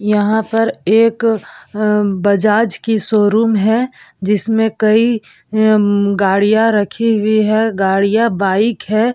यहाँ पर एक बजाज की शोरूम है जिसमें कई गाड़ियाँ रखी हुई है गाडियाँ बाइक है ।